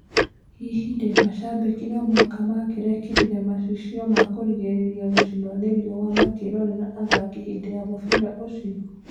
Hihi rĩ macambĩki nomũhaka mangĩekĩrire macicio makũgirĩria gũcinio nĩ riũa makĩrorera athaki hĩndĩ ya mũbira ũcio